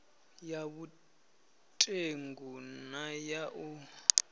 ya vhutengu na ya u